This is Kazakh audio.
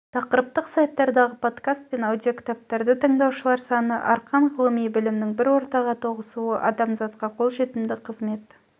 тақырыптық сайттардағы подкаст пен аудиокітаптарды тыңдаушылар саны арқан ғылым білімнің бір ортаға тоғысуы адамзатқа қолжетімді қызмет